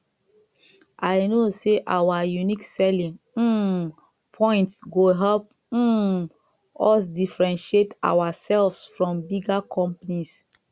i know say our unique selling um points go help um us differentiate ourselves from bigger companies